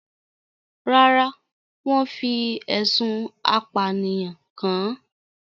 Rárá, wọ́n fi ẹ̀sùn apànìyàn kan-an